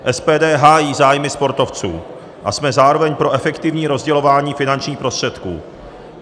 SPD hájí zájmy sportovců a jsme zároveň pro efektivní rozdělování finančních prostředků.